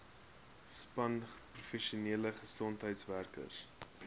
span professionele gesondheidswerkers